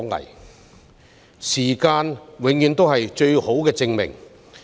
然而，時間永遠是最佳證明。